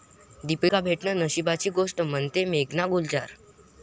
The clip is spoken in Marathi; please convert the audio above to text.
दीपिका भेटणं नशिबाची गोष्ट, म्हणतेय मेघना गुलजार